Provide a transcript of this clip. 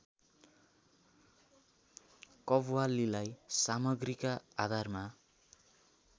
कव्वालीलाई सामग्रीका आधारमा